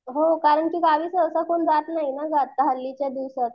हो कारण की गावी सहसा कोणी जात नाही ना आता हल्लीच्या दिवसात.